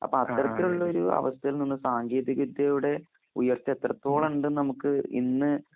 അപ്പഅത്തരത്തിലുള്ളൊരൂ അവസ്ഥയിൽനിന്ന് സാങ്കേതികിദ്യയുടെ ഉയർച്ചഎത്രത്തോളണ്ടന്നമുക്ക് ഇന്ന്